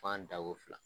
F'an dako fila